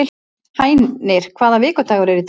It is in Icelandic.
Hænir, hvaða vikudagur er í dag?